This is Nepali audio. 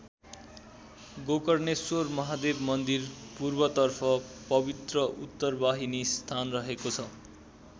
गोकर्णेश्वर महादेव मन्दिर पूर्वतर्फ पवित्र उत्तरवाहिनी स्थान रहेको छ।